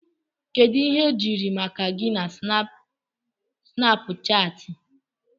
Kedu ihe ejiri ma gi na Snapuchati?